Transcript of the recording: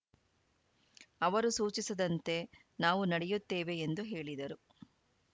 ಅವರು ಸೂಚಿಸಿದಂತೆ ನಾವು ನಡೆಯುತ್ತೇವೆ ಎಂದು ಹೇಳಿದರು